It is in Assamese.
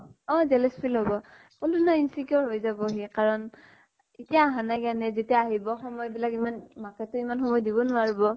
অʼ। jealous feel হʼব । কʼলো ন insecure হৈ যাব সি, কাৰণ এতিয়া আহা নাই কাৰণে, যেতিয়া আহিব সময় বিলাক, ইমান, মাকে তো ইমান সময় দিব নোৱাৰিব